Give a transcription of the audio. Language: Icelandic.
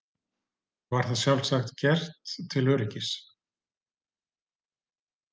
Var það sjálfsagt gert til öryggis.